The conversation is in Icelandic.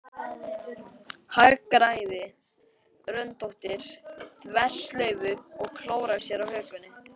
Hagræðir röndóttri þverslaufu og klórar sér á hökunni.